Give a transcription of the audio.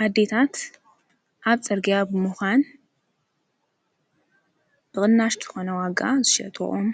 ኣዲታት ኣብ ጸርግያ ብምዃን ብቕናሽተኾነ ዋጋ ዝሸተኦም